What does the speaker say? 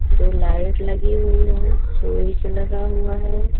दो लाइट लगी हुई है स्विच लगा हुआ है।